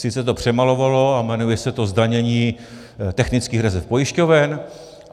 Sice to přemalovalo a jmenuje se to zdanění technických rezerv pojišťoven.